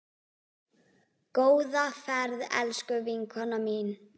Góða ferð, elsku vinkona mín.